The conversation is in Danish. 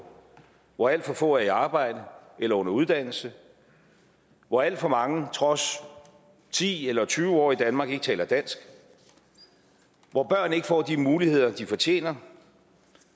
hvor alt for få er i arbejde eller under uddannelse hvor alt for mange trods ti eller tyve år i danmark ikke taler dansk hvor børn ikke får de muligheder de fortjener